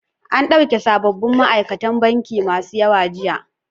An ɗauki sabobin ma'aikatan banki masu yawa jiya.